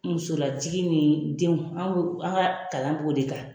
Muso lajigi ni denw anw an ka kalan b'o de kan.